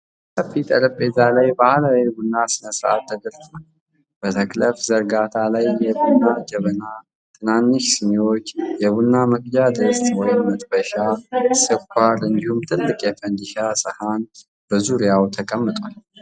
በሰፊ ጠረጴዛ ላይ ባህላዊ የቡና ሥነ ሥርዓት ተደርድሯል። በተክለፍ ዘርጋታ ላይ የቡና ጀበና፣ ትናንሽ ስኒዎች፣ የቡና መቅጃ ድስት (መጥበሻ)፣ ስኳር፣ እንዲሁም ትልቅ የፈንዲሻ ሰሃን በዙሪያው ተቀምጠዋል።